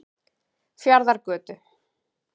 Fjarðargötu